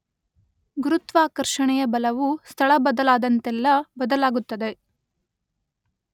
ಗುರುತ್ವಾಕರ್ಷಣೆಯ ಬಲವು ಸ್ಥಳ ಬದಲಾದಂತೆಲ್ಲ ಬದಲಾಗುತ್ತದೆ.